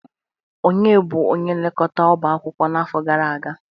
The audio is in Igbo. Ònye bụ onye nlekọta ọbá akwụkwọ n'afọ gara aga?